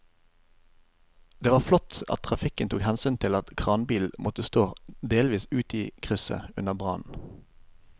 Det var flott at trafikken tok hensyn til at kranbilen måtte stå delvis ute i krysset under brannen.